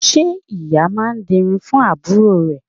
Ṣé ìyá máa dirun fún àbúrò rẹ̀